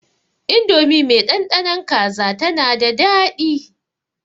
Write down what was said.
Indomi mai ɗanɗanon kaza tana da daɗi.